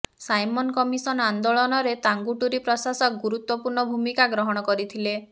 Simon Commission ଆନ୍ଦୋଳନରେ ତାଙ୍ଗୁଟୁରି ପ୍ରକାଶକ ଗୁରୁତ୍ୱପୂର୍ଣ୍ଣ ଭୂମିକା ଗ୍ରହଣ କରିଥିଲେ